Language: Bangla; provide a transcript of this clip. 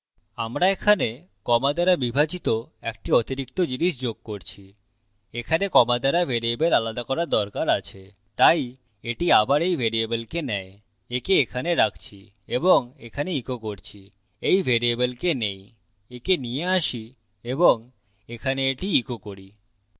আমরা এখানে comma দ্বারা বিভাজিত একটি অতিরিক্ত জিনিস যোগ করছি এখানে comma দ্বারা ভ্যারিয়েবল আলাদা করার দরকার আছে তাই এটি আবার এই ভ্যারিয়েবলকে নেয় okay এখানে রাখছি এবং এখানে ইকো করছি এই ভ্যারিয়েবলকে নেই okay নিয়ে adding এবং এখানে এটি ইকো করি